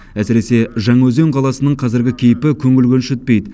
әсіресе жаңаөзен қаласының қазіргі кейпі көңіл көншітпейді